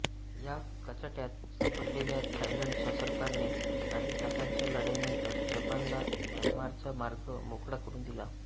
या कचाट्यात सापडलेल्या थायलंडच्या सरकारने काही तासांच्या लढाईनंतर जपानला म्यानमारचा मार्ग मोकळा करुन दिला